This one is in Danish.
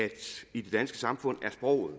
i det danske samfund er sproget